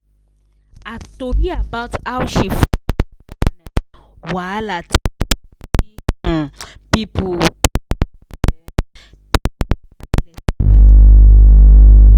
her tori about how she wahala um people